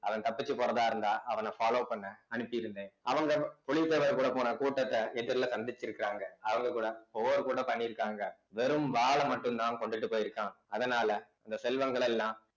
அவன் தப்பிச்சு போறதா இருந்தா அவன follow பண்ண அனுப்பி இருந்தேன் அவங்க புலித்தேவர் கூட போன கூட்டத்தை எதிர்ல சந்திச்சு இருக்காங்க அவங்க கூட ஒவ்வொரு கூட பண்ணியிருக்காங்க வெறும் வாளை மட்டும்தான் கொண்டுட்டு போயிருக்கான் அதனால இந்த செல்வங்கள் எல்லாம்